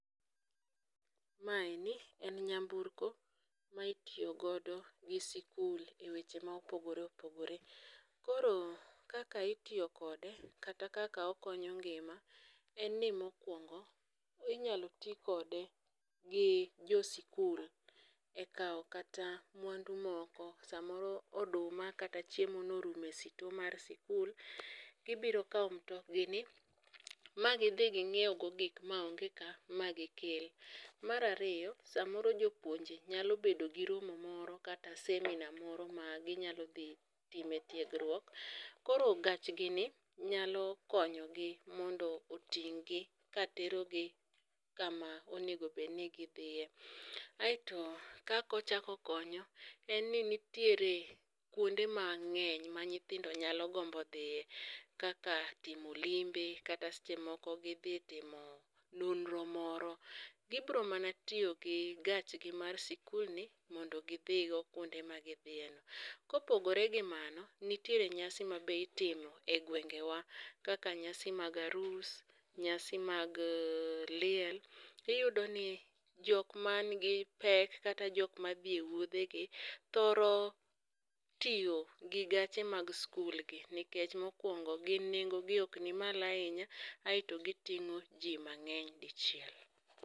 Maeni en yamburko ma itiyogodo gi sikul e weche ma opogore opogore. Koro kaka itiyo kode kata kaka okonyo ngima en ni mokwongo inyalo ti kode gi jo sikul e kawo kata mwandu moko. Samoro oduma kata chiemo norumo e store mar sikul, gibiro kawo mitokgi ni magidhi ging'iew go gik ma onge ka ma gikel. Marariyo, samoro jopuonje nyalo bedo gi romo moro kata seminar moro ma ginyalo dhi time tiegruok. Koro gachgi ni nyalo konyogi mondo oting' gi ka terogi kama onegobedni gidhiye. Aeto kakochako okonyo, en ni nitiere kuonde mang'eny ma nyithindo nyalo gombo dhiye. Kaka timo limbe, kata seche moko gidhi timo nonro moro, gibro mana tiyo gi gachgi mar sikul ni mondo gidhi go kuonde ma gidhiye no. Kopogore gi mano, nitiere nyasi ma be itimo e gwenge wa, kaka nyasi mag arus, nyasi mag liel. Iyudo ni jok man gi pek kata jok madhi e wuodhe gi thoro tiyo gi gache mag skul gi, nikech mokwongo gin nengo gi ok ni malo ahinya. Aeto giting'o ji mang'eny dichiel.